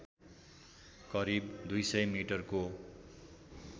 करिब २०० मि को